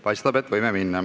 Paistab, et võime.